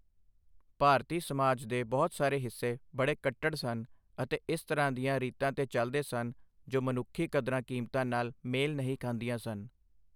ਭਾਰਤੀ ਸਮਾਜ ਦੇ ਬਹੁਤ ਸਾਰੇ ਹਿੱਸੇ ਬੜੇ ਕੱਟੜ ਸਨ ਅਤੇ ਇਸ ਤਰ੍ਹਾਂ ਦੀਆਂ ਰੀਤਾਂ ਤੇ ਚੱਲਦੇ ਸਨ ਜੋ ਮਨੁੱਖੀ ਕਦਰਾਂ ਕੀਮਤਾਂ ਨਾਲ ਮੇਲ ਨਹੀਂ ਖਾਂਦੀਆਂ ਸਨ।